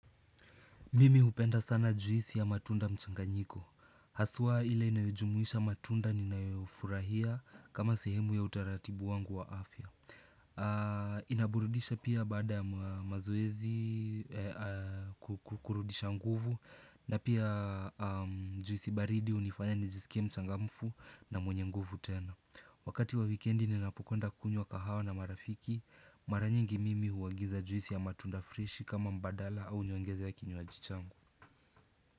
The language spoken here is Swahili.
Mimi hupenda sana juisi ya matunda mchanganyiko. Haswa ile inayojumuisha matunda ninayofurahia kama sehemu ya utaratibu wangu wa afya. Inaburudisha pia baada ya mazoezi kurudisha nguvu na pia juisi baridi hunifanya nijisikie mchangamfu na mwenye nguvu tena. Wakati wa weekendi ninapokwenda kunywa kahawa na marafiki mara nyingi mimi huagiza juisi ya matunda freshi kama mbadala au nyongeze ya kinywaji changu.